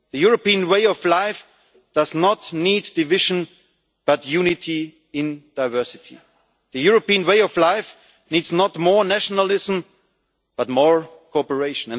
The European way of life does not need division, but unity in diversity. The European way of life needs not more nationalism but more cooperation.